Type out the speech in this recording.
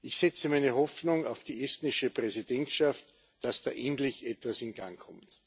Ich setze meine Hoffnung auf die estnische Präsidentschaft, dass da endlich etwas in Gang kommt.